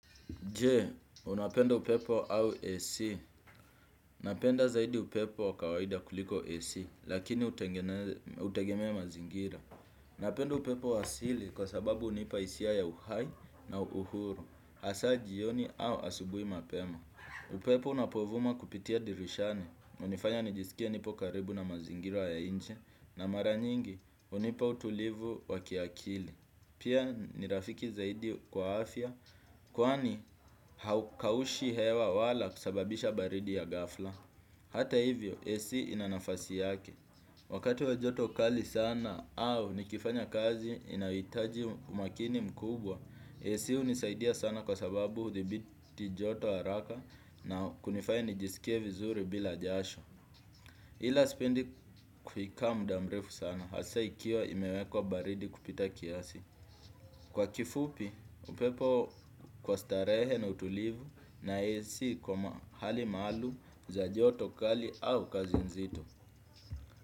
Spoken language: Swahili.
Je, unapenda upepo au AC. Napenda zaidi upepo wa kawaida kuliko AC, lakini hutegemea mazingira. Napenda upepo wa asili kwa sababu hunipa hisia ya uhai na uhuru. Hasaa jioni au asubuhi mapema. Upepo unapovuma kupitia dirishani. Hunifanya nijisikie nipo karibu na mazingira ya nje. Na mara nyingi, hunipa utulivu wa kiakili. Pia ni rafiki zaidi kwa afya, kwani haukaushi hewa wala kusababisha baridi ya ghafla. Hata hivyo, AC ina nafasi yake. Wakati wa joto kali sana au nikifanya kazi inayohitaji umakini mkubwa, AC hunisaidia sana kwa sababu hudhibiti joto haraka na kunifanya nijisikie vizuri bila jasho. Ila sipendi kuikaa muda mrefu sana, hasa ikiwa imewekwa baridi kupita kiasi. Kwa kifupi, upepo kwa starehe na utulivu na AC kwa hali maalum za joto kali au kazi nzito.